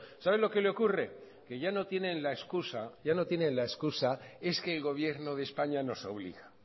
sabe lo que le ocurre que ya no tienen la excusa ya no tienen la excusa es que el gobierno de españa nos obliga